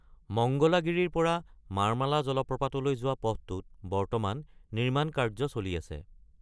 মঙ্গলাগিৰিৰ পৰা মাৰ্মালা জলপ্ৰপাতলৈ যোৱা পথটোত বৰ্তমান নিৰ্মাণ কাৰ্য্য চলি আছে।